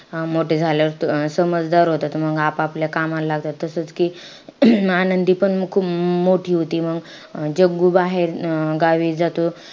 मोठे झाल्यावर त अं समजदार होता त मंग आप-आपल्या कामालं लागत. तसंच कि आनंदीपण म खूप मोठी होते. मंग जग्गू बाहेर अं गावी जातो,